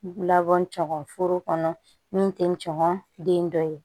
Labɔ cɛ kɔni foro kɔnɔ min tɛ ngɔnɔnden dɔ ye